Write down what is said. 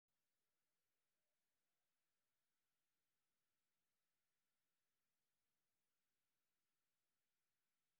Waxbarashada waxay kor u qaadaa ixtiraamka iyo isfahamka kooxaha kala duwan.